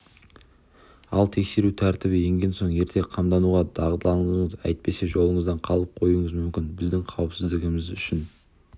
ал тексеру тәртібі енген соң ерте қамдануға дағдыланыңыз әйтпесе жолыңыздан қалып қоюыңыз мүмкін біздің қауіпсіздігіміз үшін